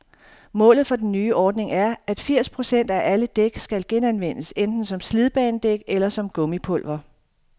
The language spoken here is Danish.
Målet for den nye ordning er, at firs procent af alle dæk skal genanvendes, enten som slidbanedæk eller som gummipulver.